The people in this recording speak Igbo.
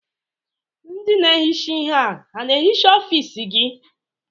Ndị na-ehicha ihe a na-ehicha ọfiisi gị?